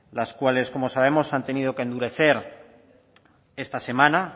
las cuales como sabemos se han tenido que endurecer esta semana